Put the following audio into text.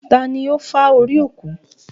Tani ó fá orí òkú?